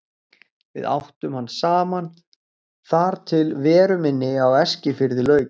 Við áttum hann saman þar til veru minni á Eskifirði lauk.